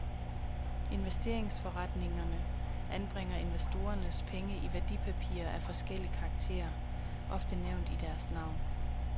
Investeringsforeningerne anbringer investorernes penge i værdipapirer af forskellig karakter, ofte nævnt i deres navn.